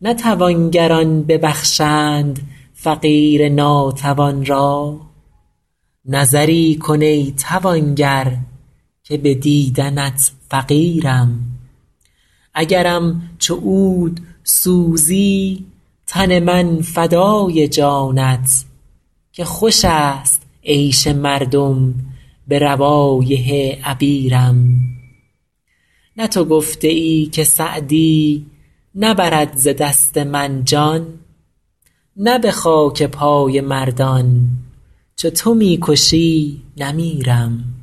نه توانگران ببخشند فقیر ناتوان را نظری کن ای توانگر که به دیدنت فقیرم اگرم چو عود سوزی تن من فدای جانت که خوش است عیش مردم به روایح عبیرم نه تو گفته ای که سعدی نبرد ز دست من جان نه به خاک پای مردان چو تو می کشی نمیرم